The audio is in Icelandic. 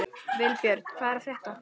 Vilbjörn, hvað er að frétta?